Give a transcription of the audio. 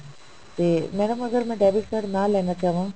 ਤੇ madam ਅਗਰ ਮੈਂ debit card ਨਾ ਲੈਣਾ ਚਾਹਵਾਂ